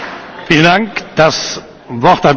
Herr Präsident, meine Damen und Herren!